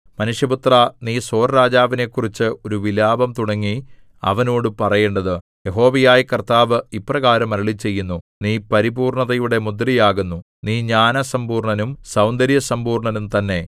മനുഷ്യപുത്രാ നീ സോർരാജാവിനെക്കുറിച്ച് ഒരു വിലാപം തുടങ്ങി അവനോട് പറയേണ്ടത് യഹോവയായ കർത്താവ് ഇപ്രകാരം അരുളിച്ചെയ്യുന്നു നീ പരിപൂർണ്ണതയുടെ മുദ്രയാകുന്നു നീ ജ്ഞാനസമ്പൂർണ്ണനും സൗന്ദര്യസമ്പൂർണ്ണനും തന്നെ